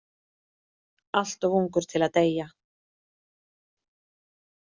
Allt of ungur til að deyja.